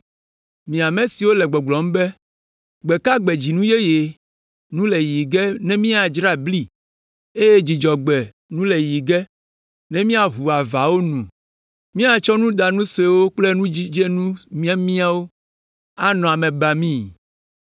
Mi ame siwo le gbɔgblɔm be, “Gbe ka gbe dzinu yeye nu le yiyi ge ne míadzra bli, eye Dzudzɔgbe nu le yiyi ge ne míaʋu avawo nu?” Míatsɔ nudanu suewo kple nudzidzenu miamiawo anɔ ame bamii.